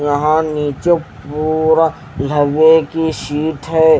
यहाँ निचे पूरा लवे की सीट है।